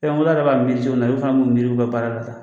na olu fana bi n'u minnu miiri u ka baara la sa